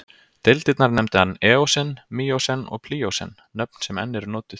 Deildirnar nefndi hann eósen, míósen og plíósen, nöfn sem enn eru notuð.